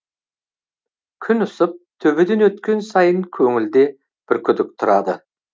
күн ысып төбеден өткен сайын көңілде бір күдік тұрады